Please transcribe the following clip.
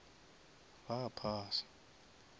ba phasa